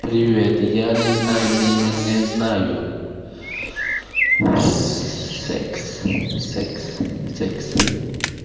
привет я не знаю не не не знаю секс секс секс